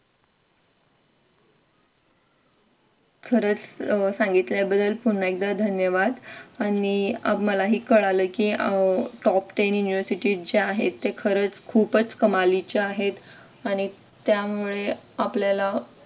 खरंच सांगितल्याबद्दल पुन्हा एकदा धन्यवाद आणि मलाही कळालं की अह top ten university जे आहेत ते खरंच खूप कमालीचे आहेत आणि त्यामुळे आपल्याला